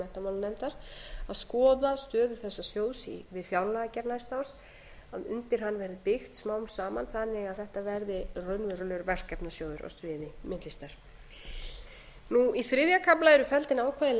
menntamálanefndar og skoða stöðu þessa sjóðs við fjárlagagerð næsta árs að undir hann verði byggt smám saman þannig að þetta verði raunverulegur verkefnasjóður á sviði myndlistar í þriðja kafla eru felld inn ákvæði laga um